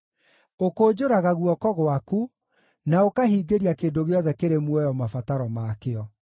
Ũkũnjũraga guoko gwaku, na ũkahingĩria kĩndũ gĩothe kĩrĩ muoyo mabataro makĩo.